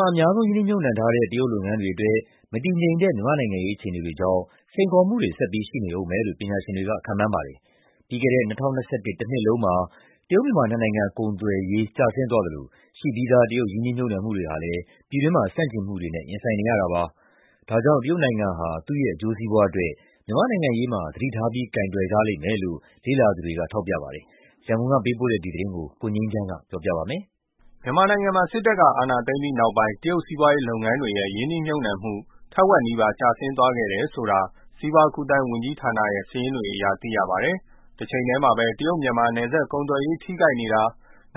ှာ အများဆုံးရင်း နှီးမြှုပ်နှံထားတဲ့ တရုတ်လုပ်ငန်းတွေအတွက် စိန်ခေါ်မှုတွေ ဆက်ပြီးရှိနေဦးမယ်လို့ ပညာရှင်တွေက ခန့်မှန်းလိုက်ပါတယ်။ ပြီးခဲ့တဲ့ ၂၀၂၁ တနှစ်လုံးမှာ တရုတ်-မြန်မာ နှစ်နိုင်ငံကုန်သွယ်ရေး ကျဆင်းသွားသလို ရှိပြီးသား တရုတ် ရင်းနှီးမြှုပ်နှံမှုတွေဟာလည်း ပြည်တွင်းဆန့်ကျင်မှုတွေနဲ့ ရင်ဆိုင်နေရတာပါ။ ဒါကြောင့် တရုတ်ဟာ သူ့ရဲ့အကျိုးစီးပွားအတွက် မြန်မာ့နိုင်ငံရေးမှာ သတိထားပြီး ကိုင်တွယ်ရလိမ့်မယ်လို့ လေ့လာသူတွေက ပြောပါတယ်။ ရန်ကုန်ကပေးပို့တဲ့ ဒီသတင်းကိုတော့ ကိုငြိမ်းချမ်းက တင်ပြပေးထားပါတယ်။ မြန်မာနိုင်ငံမှာ စစ်တပ်အာဏာသိမ်းပြီးနောက်ပိုင်း တရုတ်စီးပွားရေးလုပ်ငန်းတွေရဲ့ ရင်းနှီးမြှုပပ်နံှမှုတွေက ထက်ဝက်နီးပါးကျဆင်းသွားခဲ့တယ်လို့ စီးပွားကူးသန်းဝန်ကြီးဌာနရဲ့ စာရင်းတွေ အရသိရပါတယ်။ တချိန်တည်းမှာပဲ တရုတ်- မြန်မာ နယ်စပ်ကုန်သွယ်ရေး ထိခိုက်နေတာ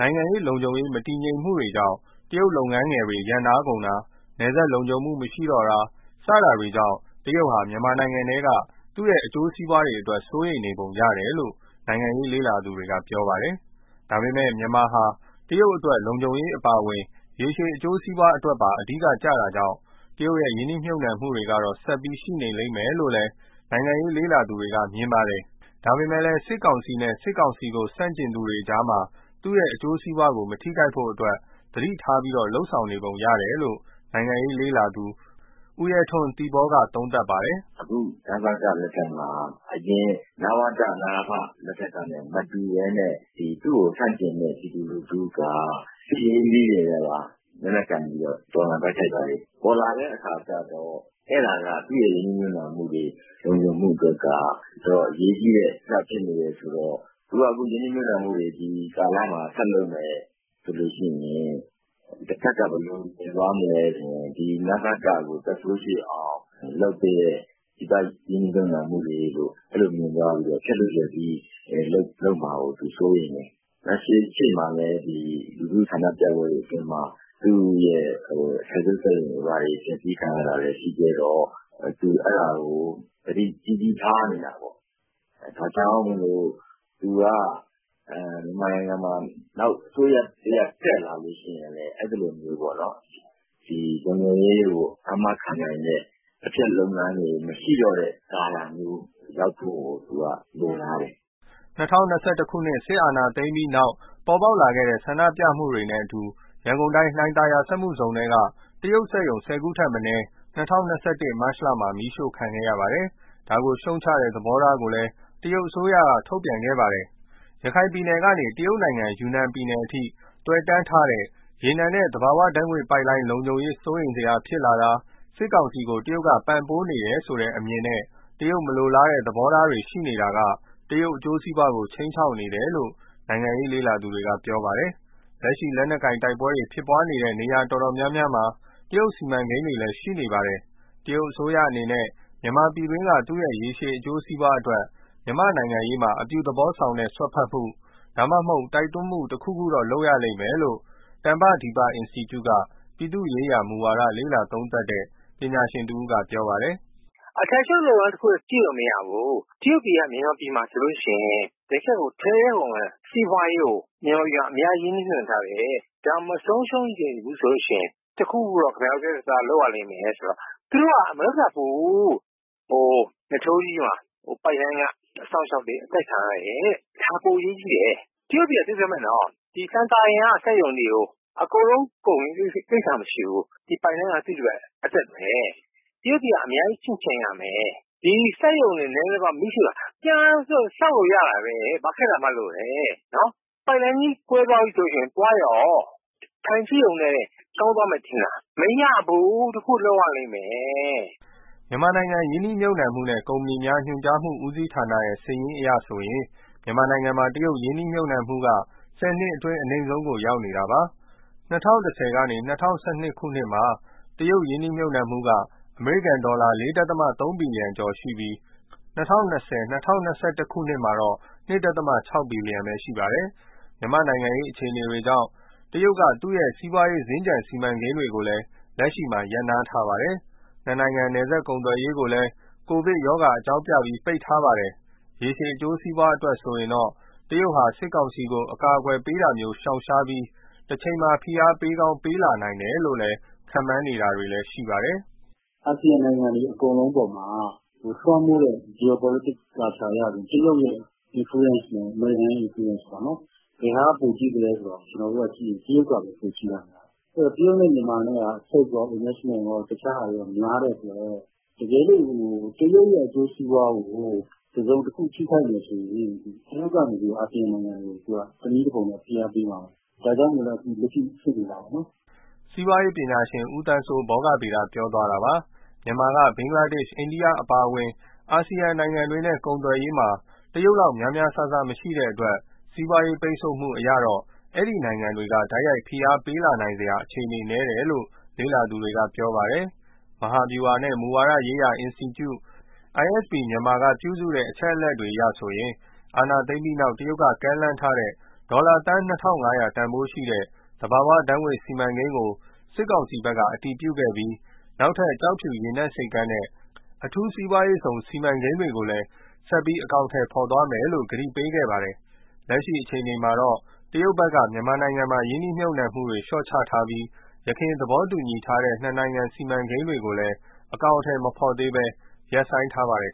၊ နိုင်ငံရေးနဲ့ လုံခြုံရေးမတည်ငြိမ်မှုကြောင့် တရုတ်လုပ်ငန်းသေးတွေ ရပ်နားကုန်တာ၊ နယ်စပ်လုံခြုံမှု မရှိတော့တာ စတာတွေကြောင့် တရုတ်ဟာ မြန်မာနိုင်ငံထဲက သူ့ရဲ့အကျိုးစီးပွားတွေအတွက် စိုးရိမ်နေပုံရတယ်လို့ နိုင်ငံရေးလေ့လာသူတွေက ပြောပါတယ်။ ဒါပေမယ့် မြန်မာဟာ တရုတ်အတွက် လုံခြုံရေးအပါအဝင် ရေရှည်အကျိုးစီးပွားအတွက်ပါ အဓိကကျတဲ့အတွက် တရုတ်ရဲ့ ရင်းနှီးမြှုပ်နှံမှု တွေကတော့ ဆက်ပြီးရှိလိမ့်မယ်လို့ နိုင်ငံရေးလေ့လာသူတွေက မြင်ပါတယ်။ ဒါပေမဲ့ စစ်ကောင်စီနဲ့ စစ်ကောင်စီကို ဆန့်ကျင်နေသူတွေကြားမှာ သူ့ရဲ့အကျိုးစီးပွား မထိခိုက်ဖို့အတွက် သတိထားပြီးတော့ လုပ်ဆောင်ရကြောင်း နိုင်ငံရေးလေးလာသူ ဦးရဲထွန်း ( သီပေါ) သုံးသပ်ပါတယ်။ “အခု နစက လက်ထက်မှာ အရင် နဝတ၊ နအဖ လက်ထက်ကနဲ့မတူဘဲနဲ့ သူ့ကိုဆန့်ကျင်တဲ့ ပြည်သူလူထုက စစ်ရေးနည်းတွေနဲ့ လက်နက်ကိုင်ပြီးတော့ တော်လှန်တိုက်ခိုက်တာတွေ ပေါ်လာတဲ့အခါကျတော့ အဲဒါက သူ့ရဲ့ရင်းနှီးမြှုပ်နှံမှုတွေနဲ့လုံခြုံမှုအတွက်က တော်တော် အရေးကြီးတဲ့ ကိစ္စဖြစ်နေတော့ သူက ရင်းနှီးမြှုပ်နှံမှုတွေ ဒီကာလမှာ ဆက်လုပ်မယ်ဆိုရင် တဘက်က ဘယ်လိုမြင်သွားမလဲဆိုရင် ဒီ နစကကို သက်ဆိုးရှည်အောင် လုပ်ပေးတဲ့ ပြည်ပရင်းနှီးမြှုပ်နှံမှုတွေလို့ အဲလိုမြင်သွားပြီးတော့ ဖျက်လို့ဖျက်စီးလုပ်မှာကို သူစိုးရိမ်တယ်။ ရှေ့မှာလည်း လူထုဆန္ဒပြပွဲတွေအတွင်းမှာ သူ့ရဲ့အထည်ချုပ်တွေဘာတွေ ဖျက်စီးခံရတာလည်း ရှိခဲ့တော့ သူအဲဒါကို သတိကြီးကြီးထားနေတာပေါ့။ ဒါကြောင့်မို့သူက မြန်မာနိုင်ငံမှာ နောက်အစိုးရ တက်လာလို့ရှိရင် လုံခြုံရေးကိုအာမခံနိုင်တဲ့ အဖျက်လုပ်ငန်းတွေ မရှိတော့တဲ့ ကာလမျိုးရောက်ဖို့ကို သူကလိုလားတယ်။” ၂၀၂၁ ခုနှစ် စစ်အာဏာသိမ်းပြီးနောက် ပေါ်ပေါက်လာတဲ့ ဆန္ဒပြမှုတွေနဲ့အတူ ရန်ကုန်တိုင်း လှိုင်သာယာစက်မှုဇုံထဲက တရုတ်စက်ရုံ ၁၀ ခုထက်မနည်း ၂၀၂၁ မတ်လမှာ မီးရှို့ခံခဲ့ရပါတယ်။ တရုတ်အစိုးရက ဒါကိုရှုတ်ချတဲ့ သဘောထားကိုလည်း ထုတ်ပြန်ခဲ့ပါတယ်။ ရခိုင်ပြည်နယ်ကနေ တရုတ်နိုင်ငံ ယူနန်ပြည်နယ်အထိ သွယ်တန်းထားတဲ့ ရေနံနဲ့ သဘာဝပိုက်လိုင်း ခြုံရေး စိုးရိမ်စရာဖြစ်လာတာ၊ စစ်ကောင်စီကို တရုတ်က ပံ့ပိုးနေတယ်ဆိုတဲ့အမြင်နဲ့ တရုတ်မလိုလားတဲ့ သဘောထားတွေ ရှိနေတာက တရုတ်အကျိုးစီးပွားကို ခြိမ်းခြောက်နေတယ်လို့ နိုင်ငံရေး လေ့လာသူတွေက ပြောပါတယ်။ လက်ရှိလက်နက်ကိုင်တိုက်ပွဲတွေဖြစ်နေတဲ့ နေရာတော်တော်များများမှာ တရုတ်စီမံကိန်းတွေလည်း ရှိနေပါတယ်။ တရုတ်အစိုးရအနေနဲ့ မြန်မာပြည်တွင်းက သူ့ရဲ့ရေရှည်အကျိုးစီးပွားအတွက် မြန်မာ့နိုင်ငံရေးမှာ အပြုသဘောဆောင်တဲ့ စွက်ဖက်မှု၊ ဒါမှမဟုတ် တိုက်တွန်းမှုတခုခုတော့ လုပ်ရလိမ့်မယ်လို့ တမ္ပဒီပအင်စတီကျုက ပြည်သူ့ရေးရာမူဝါဒ လေ့လာသုံးသပ်တဲ့ ပညာရှင်တဦးက ပြောပါတယ်။ “အထည်ချုပ်လုပ်ငန်း တခုတည်း ကြည့်လို့မရဘူး၊ တရုတ်တွေက မြန်မာပြည်မှာ တကယ့်ကိုထဲထဲဝင်ဝင် စီးပွားရေးကို မြန်မာပြည်မှာ ရင်းနှီးမြှုပ်နှံထားတယ်၊ ဒါကိုမဆုံးရှုံးချင်ဘူးဆိုရင် တခုခုတော့ ခင်ဗျားတို့ ပြတ်ပြတ်သားသား လုပ်ရလိမ့်မယ်ဆိုတော့ သူတို့က မလုပ်တတ်ဘူး။ နထိုးကြီးမှာ ( ရေနံ) ပိုက်လိုင်းက အစောင့်အရှောက်တွေ အသတ်ခံရတယ်တဲ့ ဒါပိုအရေးကြီးတယ်။ တရုတ်တွေက လှိုင်သာယာက စက်ရုံတွေကို အကုန်လုံးကုန် ကိစ္စမရှိဘူး။ ဒီ ပိုက် လိုင်းက သူ့အတွက်အသက်ပဲ။ တရုတ်တွေက အများကြီးချင့်ချိန်ရမယ်။ ဒီစက်ရုံတွေ လှိုင်သာယာမှာ မီးရှို့တာ ပြန်ဆောက်လို့ရတာပဲ။ ဘာခက်တာမှတ်လို့လဲ၊ ပိုက်လိုင်းကြီး ကွဲသွားရင် သွားရော။ ထိုင်ကြည့်ရုံနဲ့ ကောင်းသွားမယ်ထင်လား မရဘူး။ တခုခုလုပ်ရလိမ့်မယ်။” မြန်မာနိုင်ငံရင်းနှီးမြှုပ်နှံမှုနှင့် ကုမ္ပဏီများညွှန်ကြားမှု ဦးစီးဌာနရဲ့ စာရင်းအရဆိုရင် မြန်မာနိုင်ငံမှာ တရုတ်ရင်းနှီးမြှုပ်နှံမှုက ၁၀ နှစ်အတွင်း အနိမ့်ဆုံးကို ရောက်နေတာပါ။ ၂၀၁၀-၂၀၁၂ မှာ တရုတ်ရင်းနှီးမြှုပ်နှံမှုက အမေရိကန်ဒေါ်လာ ၄.၃ ဘီလီယံကျော်ပြီး ၂၀၂၀- ၂၀၂၁ မှာတော့ ၂.၆ ဘီလီယံပဲရှိပါတယ်။ မြန်မာ့နိုင်ငံရေး အခြေအနေတွေကြောင့် တရုတ်က သူ့ရဲ့စီးပွားရေးစင်္ကြန် စီမံကိန်းတွေကိုလည်း လက်ရှိမှာ ရပ်နားထားပါတယ်။ နှစ်နိုင်ငံ နယ်စပ်ကုန်သွယ်ရေးကိုလည်း ကိုဗစ်ရောဂါ အကြောင်းပြပြီး ပိတ်ထားပါတယ်။ ရေရှည်အကျိုးစီးပွား အတွက်ဆိုရင်တော့ တရုတ်ဟာ စစ်ကောင်စီကို အကာအကွယ်ပေးဖို့ကို ရှောင်ရှားပြီး တချိန်မှာ ဖိအားပေးကောင်း ပေးလာနိုင်တယ်လို့ ခန့်မှန်းနေကြတာလည်း ရှိပါတယ်။ “အာဆီယံနိုင်ငံတွေ အကုန်လုံးအပေါ်မှာ လွှမ်းမိုးတဲ့ Geopolitics culture (ပထဝီနိုင်ငံရေး သဘောတရား) အရဆိုရင် တရုတ်ရဲ့ Influence နဲ့ အမေရိကန်ရဲ့ Influence (လွှမ်းမိုးမှု) ပေါ့နော် ဘယ်ဟာကပိုကြီးသလဲဆိုတော့ ကျနော်တို့ကြည့်ရင် တရုတ်ကပဲ ပိုကြီးနိုင်တယ်။ အဲဒီတော့ တရုတ်နဲ့ မြန်မာနဲ့က trade ရော investment ရော တခြားဟာတွေရော များတဲ့အတွက် တကယ်လို့ တရုတ်ရဲ့ အကျိုးစီးပွားကို တစုံတခု ထိခိုက်မယ်ဆိုရင် တရုတ်ကနေ အာစီယံနိုင်ငံတွေကို သူကတနည်းတဖုံနဲ့ ဖိအားပေးမှာပဲ။ ဒါကြောင့်မို့လည်း လက်ရှိဖြစ်နေတာပေါ့နော်။” စီးပွားရေးပညာရှင် ဦးသန်းစိုး ( ဘောဂဗေဒ) ပြောသွားတာပါ။ မြန်မာက ဘင်္ဂလားဒေ့ရှ်၊ အိန္ဒိယ အပါအဝင် အာဆီယံနိုင်ငံတွေနဲ့ ကုန်သွယ်ရေးမှာ တရုတ်လောက် များများစားစား မရှိတဲ့အတွက် စီးပွားရေးပိတ်ဆို့မှုအရတော့ ဒီနိုင်ငံတွေက တိုက်ရိုက်ဖိအားပေးလာနိုင်စရာ အခြေအနေနည်းတယ်လို့ လေ့လာသူတွေက ပြောပါတယ်။ မဟာဗျူဟာနဲ့ မူဝါဒရေးရာ အင်စတီကျူ ISP Myanmar ကပြုစုထားတဲ့ အချက်အလက်အရဆိုရင် အာဏာသိမ်းပြီးတဲ့နောက် တရုတ်ကမ်းလှမ်းထားတဲ့ ဒေါ်လာသန်း ၂,၅၀၀ တန်ဖိုးရှိတဲ့ သဘာဝဓာတ်ငွေ့စီမံကိန်းကို စစ်ကောင်စီဘက်က အတည်ပြုခဲ့ပြီး နောက်ထပ်ကျောက်ဖြူ ရေနက်ဆိပ်ကမ်းနဲ့ အထူးစီးပွားရေးဇုန်စီမံကိန်းတွေကိုလည်း ဆက်ပြီးအကောင်အထည် ဖော်သွားမယ်လို့ ကတိပေးခဲ့ပါတယ်။ လက်ရှိအခြေအနေမှာတော့ တရုတ်ဘက်ကတော့ မြန်မာနိုင်ငံမှာ ရင်းနှီးမြှုပ်နှံမှုတွေ လျှော့ချထားပြီး ယခင်သဘောတူညီထားတဲ့ နှစ်နိုင်ငံစီမံကိန်းတွေကိုလည်း အကောင်အထည်မဖော်သေးဘဲ ရပ်ဆိုင်းထားပါတယ်